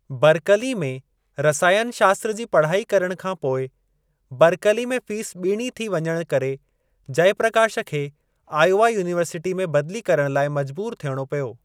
Berkeley में रसायनु शास्त्र जी पढ़ाई करण खां पोइ, बर्कली में फीस ॿीणी थी वञणु करे जयप्रकाश खे आयोवा युनिवर्सिटीअ में बदली करण लाइ मजबूर थियणो पियो।